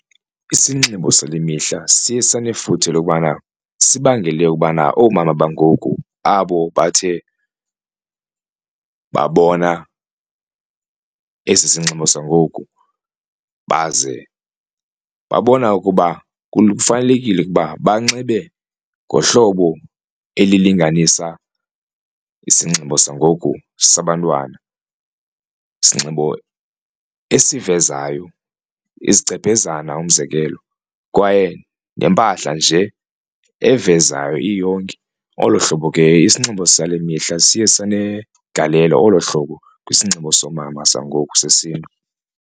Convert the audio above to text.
Isinxibo sale mihla siye sanefuthe lokubana sibangele ukubana oomama bangoku abo bathe babona esi sinxibo sangoku baze babona ukuba kufanelekile ukuba banxibe ngohlobo elilinganisa isinxibo sangoku sabantwana. Isinxibo esivezayo izigcebhezana umzekelo kwaye nempahla nje evezayo iyonke olo hlobo ke isinxibo sale mihla siye sanegalelo olo hlobo kwisinxibo soomama sangoku sesiNtu.